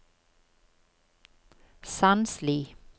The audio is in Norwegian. Sandsli